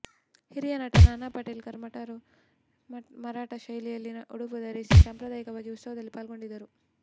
ಹಿರಿಯ ನಟ ನಾನಾ ಪಾಟೇಕರ್ ಮರಾಠ ಶೈಲಿಯಲ್ಲಿ ಉಡುಪು ಧರಿಸಿ ಸಾಂಪ್ರದಾಯಿಕವಾದ ಉತ್ಸವದಲ್ಲಿ ಪಾಲ್ಗೊಂಡಿದ್ದರು